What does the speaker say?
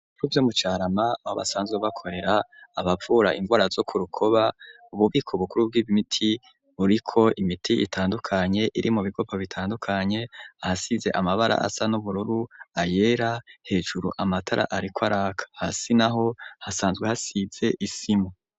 Ko vyo mucarama babasanzwe bakorera abapfura imvura zo ku rukoba ububiko bukuru bw'ibmiti buriko imiti itandukanye iri mu bigopa bitandukanye ahasize amabara asa n'ubururu ayera hejuru amatara, ariko araka hasi na ho hasanzwe hasize isimu.